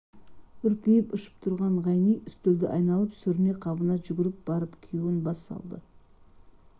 үрпиіп ұшып тұрған ғайни үстелді айналып сүріне-қабына жүгіріп барып күйеуін бас салды